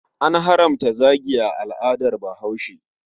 An haramta zagi a al'adat Bahaushe.